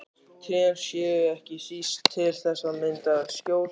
Trén séu ekki síst til þess að mynda skjól.